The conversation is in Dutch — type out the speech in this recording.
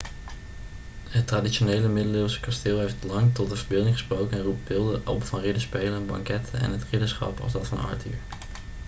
het traditionele middeleeuwse kasteel heeft lang tot de verbeelding gesproken en roept beelden op van ridderspelen banketten en het ridderschap als dat van arthur